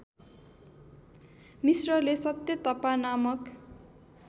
मिश्रले सत्यतपा नामक